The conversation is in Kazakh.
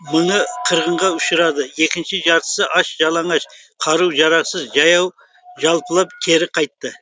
мыңы қырғынға ұшырады екінші жартысы аш жалаңаш қару жарақсыз жаяу жалпылап кері қайтты